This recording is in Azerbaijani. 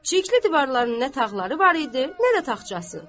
Çirkli divarlarının nə tağları var idi, nə də taxçası.